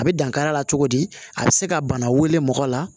A bɛ dankari a la cogo di a bɛ se ka bana wele mɔgɔ la